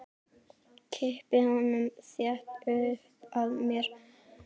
Kippi honum þétt upp að mér.